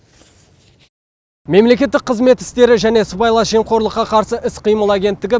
мемлекеттік қызмет істері және сыбайлас жемқорлыққа қарсы іс қимыл агенттігі